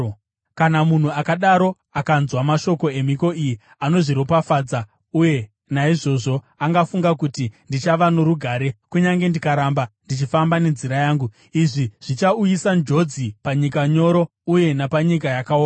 Kana munhu akadaro akanzwa mashoko emhiko iyi, anozviropafadza uye naizvozvo agofunga kuti, “Ndichava norugare, kunyange ndikaramba ndichifamba nenzira yangu.” Izvi zvichauyisa njodzi panyika nyoro uye napanyika yakaoma.